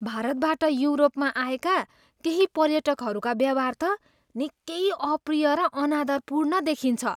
भारतबाट युरोपमा आएका केही पर्यटकहरूका व्यवहार त निकै अप्रिय र अनादरपूर्ण देखिन्छ।